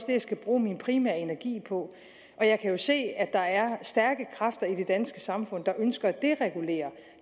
det jeg skal bruge min primære energi på og jeg kan jo se at der er stærke kræfter i det danske samfund der ønsker at deregulere